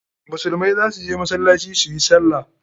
Musulmai za su je masallaci su yi sallah.